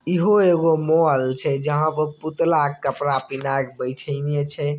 इहो एगो मॉल छै जहां पे पुतला के कपड़ा पहनेएके बैठेएने छै।